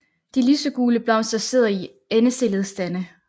De lysegule blomster sidder i endestillede stande